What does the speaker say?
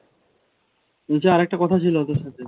ওই যে আরেকটা কথা ছিল তোর সাথে